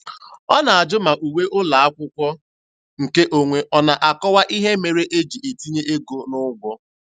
Ọ na-ajụ ma uwe ụlọakwụkwọ nke onwe ọ na-akọwa ihe mere e ji etinye ego n'ụgwọ.